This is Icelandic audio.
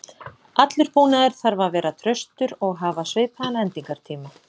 Allur búnaður þarf að vera traustur og hafa svipaðan endingartíma.